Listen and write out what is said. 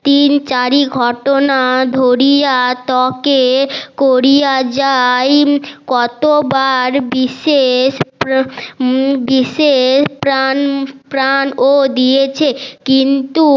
তিন চারি ঘটনা ধরিয়া তকে করিয়া যাই কতোবার বিশেষ বিশেষ প্রাণ প্রাণ ও দিয়েছে কিন্তু